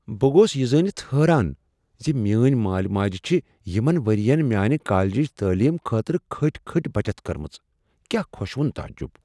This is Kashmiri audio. بہٕ گوس یہ زٲنِتھ حیران ز میٲنۍ مٲلۍ ماجِہ چھ یمن ؤرین میانِہ کالجچ تعلیم خٲطرٕ کٔھٹۍ کٔھٹۍ بچت کٔرمٕژ۔ کیا خوشیوُن تعجب!